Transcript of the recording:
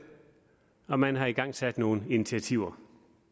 og man har igangsat nogle initiativer